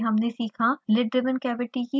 lid driven cavity की file संरचना